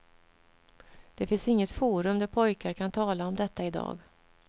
Det finns inget forum där pojkar kan tala om detta i dag.